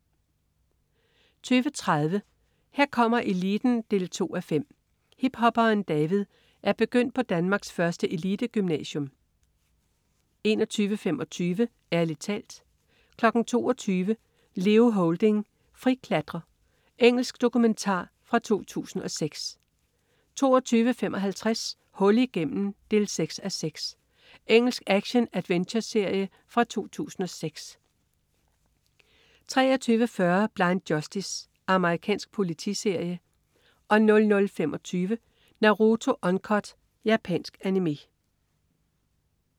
20.30 Her kommer eliten 2:5. Hiphopperen David er begyndt på Danmarks første elitegymnasium 21.25 Ærlig talt 22.00 Leo Houlding, friklatrer. Engelsk dokumentar fra 2006 22.55 Hul igennem 6:6. Engelsk action-adventureserie fra 2006 23.40 Blind Justice. Amerikansk politiserie 00.25 Naruto Uncut. Japansk Animé